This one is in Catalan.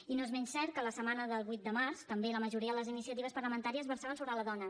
i no és menys cert que la setmana del vuit de març també la majoria de les iniciatives parlamentàries versaven sobre la dona